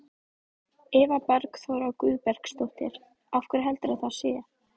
Eva Bergþóra Guðbergsdóttir: Af hverju heldurðu að það sé?